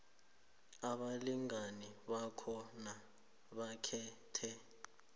abalingani bakhona bakhethe